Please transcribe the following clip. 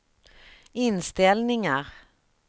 inställningar